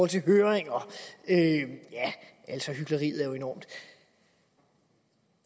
til høringer ja hykleriet er jo enormt